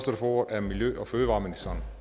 får ordet er miljø og fødevareministeren